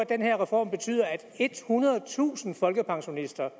den her reform betyder at ethundredetusind folkepensionister